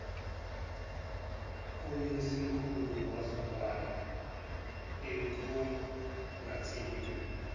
koyisemkhulu wezwakala ekhungathekile